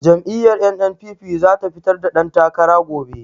Jam'iyyar NNPP za ta fitar da dantakara gobe.